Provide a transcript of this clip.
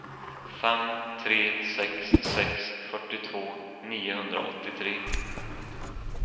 fem tre sex sex fyrtiotvå niohundraåttiotre